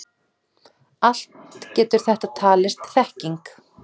Allt getur þetta talist þekking.